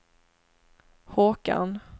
Håkan